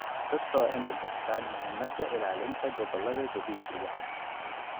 Dadka waa in ay bartaan muhiimada ilaalinta gobollada dabiiciga ah.